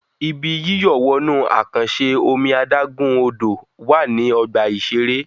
Ibi yíyọ̀ wọnú àkànṣe omi adágún-Odò wà ní ọgbà-ìṣeré